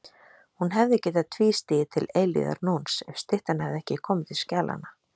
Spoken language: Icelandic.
Hún hefði getað tvístigið til eilífðarnóns ef styttan hefði ekki komið til skjalanna.